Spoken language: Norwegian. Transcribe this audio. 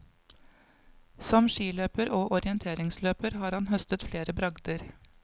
Som skiløper og orienteringsløper har han høstet flere bragder.